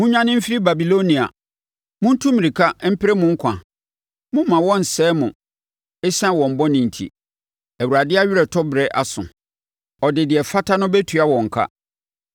“Monnwane mfiri Babilonia! Montu mmirika mpere mo nkwa! Mommma wɔnsɛe mo ɛsiane wɔn bɔne enti. Awurade aweretɔberɛ aso; ɔde deɛ ɛfata no bɛtua wɔn ka.